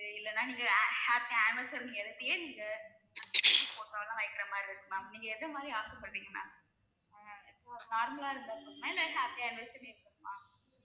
அப்படி இல்லைன்னா நீங்க ha~ happy anniversary னு எழுதியே நீங்க, photo எல்லாம் வைக்கிற மாதிரி இருக்கு ma'am நீங்க எத மாதிரி ஆசைப்படுறீங்க ma'am normal லா இருந்தா போதுமா இல்ல happy anniversary னு இருக்கனுமா